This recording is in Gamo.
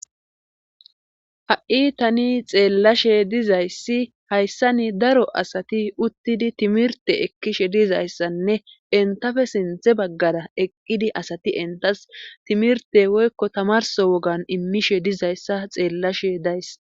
ha7i tani xeellashe dizayssi hayssani daro asati uttidi timirte ekkishe dizayssanne entafe sinthe baggada eqqidi asati entas timirte woykko tamarso wogan immishe dizayssa xeellashe days